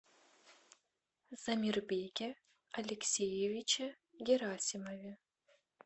замирбеке алексеевиче герасимове